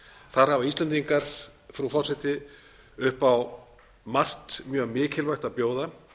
þar hafa íslendingar frú forseti upp á margt mjög mikilvægt að bjóða